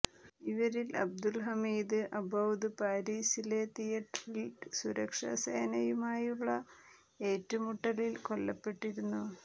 ഇവരിൽ Abdul Hamid Abaaoud പാരിസിലെ തിയറ്ററിൽ സുരക്ഷാ സേനയുമായുള്ള ഏറ്റുമുട്ടലിൽ കൊല്ലപ്പെട്ടിരുന്നു